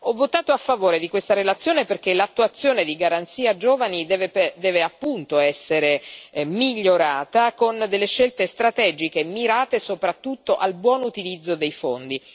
Ho votato a favore di questa relazione perché l'attuazione della Garanzia per i giovani deve essere migliorata con scelte strategiche, mirate soprattutto al buon utilizzo dei fondi.